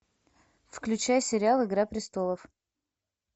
включай сериал игра престолов